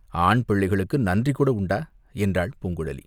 ஆண் பிள்ளைகளுக்கு நன்றிகூட உண்டா?" என்றாள் பூங்குழலி.